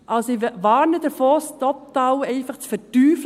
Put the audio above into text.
Ich warne davor, dies total zu verteufeln.